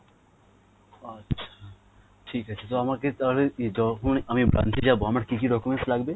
আচ্ছা ঠিক আছে তো আমাকে তাহলে যখন আমি branch এ যাবো আমার কি কি documents লাগবে